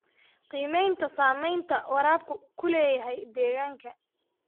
Qiimaynta saamaynta waraabku ku leeyahay deegaanka.